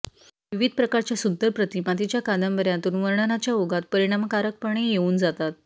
विविध प्रकारच्या सुंदर प्रतिमा तिच्या कादंबऱ्यांतून वर्णनाच्या ओघात परिणामकारकपणे येऊन जातात